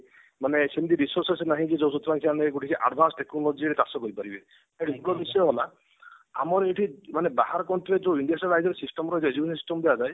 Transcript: ମାନେ resources ନାହିଁ ଯେ ଯୋଉଥିରେ ସେମାନେ ଟିକେ advance technology ରେ ଚାଷ କରିପାରିବେ ହେଲା ଆମର ଏଠି ମାନେ ବାହାର country ରେ ଯୋଉ system ଦିଆଯାଏ